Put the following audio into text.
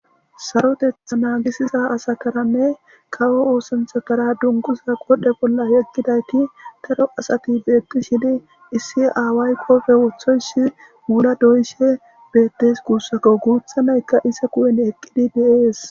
Sarotetha naagisiza asakaranne kawo oosanthakara dunguza qodhe bolla yeggidayti daro asati beetti shidi issi aaway kofe woththoysi wuda doyishe bettes kuussako guutha naykka isa kuyen eqqidi deees.